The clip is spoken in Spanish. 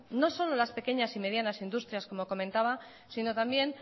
no solo las pequeñas y medianas industrial como comentaba sino también